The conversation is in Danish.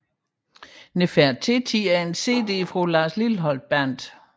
Nefertiti er en cd fra Lars Lilholt Band